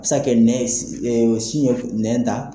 A bi se ka kɛ nɛn sin ye nɛn ta.